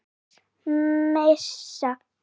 Önnur messa.